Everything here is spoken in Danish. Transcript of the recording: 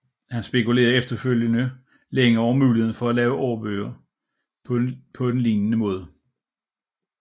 Han spekulerede efterfølgende længe over muligheden for at lave årbøger på en lignende måde